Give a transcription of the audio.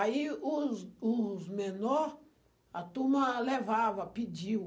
Aí os os os menor, a turma levava, pediu.